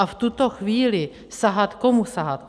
A v tuto chvíli sahat - komu sahat?